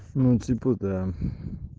ну типа да